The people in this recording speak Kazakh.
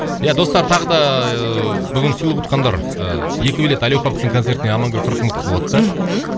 иә достар тағы да ыыы бүгін сыйлық ұтқандар ыыы екі билет әли оқаповтың концертіне амангуль қырықмылтықова ұтты мхм